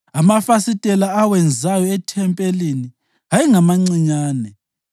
Amafasitela awenzayo ethempelini ayengamancinyane.